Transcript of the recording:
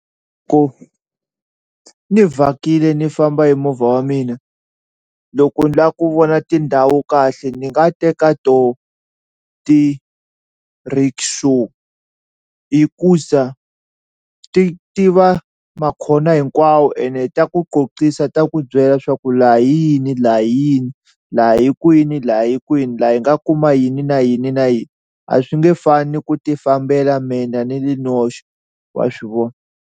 ni vhakile ni famba hi movha wa mina loko ni la ku vona tindhawu kahle ni nga teka toho ti-rickshaw hikuza ti tiva makhona hinkwawo ene ta ku qoqisa ta ku byela swa ku laha hi yini laha hi yini laha hikwini laha hikwini laha hi nga kuma yini na yini na yini a swi nge fani ku ti fambela mina ni li noxe wa swi vona.